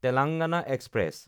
Telangana express